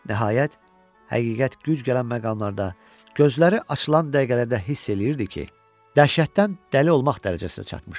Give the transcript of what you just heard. Nəhayət, həqiqət güc gələn məqamlarda, gözləri açılan dəqiqələrdə hiss eləyirdi ki, dəhşətdən dəli olmaq dərəcəsinə çatmışdı.